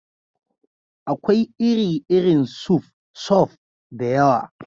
Akwai iri-irin suf (soup) da yawa.